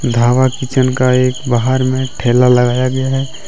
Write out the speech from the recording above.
Dhaba kitchen का एक बहार में ठेला लगाया गया है।